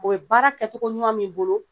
O ye baara kɛcogoɲuman m'i bolo